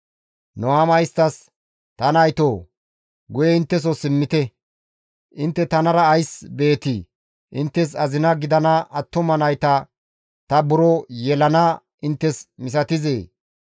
Nuhaama isttas, «Ta naytoo guye intteso simmite; intte tanara ays beetii? Inttes azina gidana attuma nayta ta buro yelanaa inttes misatizee?